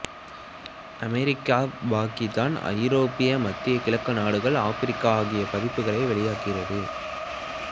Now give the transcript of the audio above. America Pakistan ஐரோப்பா மத்திய கிழக்கு நாடுகள் ஆப்பிரிக்கா ஆகிய பதிப்புகளில் வெளியாகிறது